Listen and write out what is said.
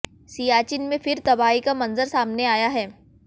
सियाचिन में फिर तबाही का मंजर सामने आया है